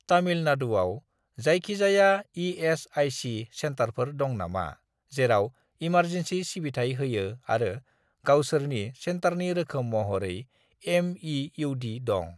तामिलनाडुआव जायखिजाया इ.एस.आइ.सि. सेन्टारफोर दं नामा जेराव इमारजेनसि सिबिथाय होयो आरो गावसोरनि सेन्टारनि रोखोम महरै एम.इ.इउ.डी. दं?